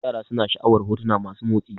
Yara suna sha'awar hotuna masu motsi